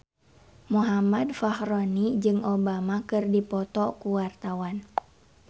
Muhammad Fachroni jeung Obama keur dipoto ku wartawan